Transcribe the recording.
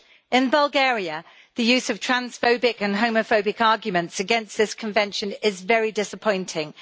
In Bulgaria, the use of transphobic and homophobic arguments against this Convention is very disappointing.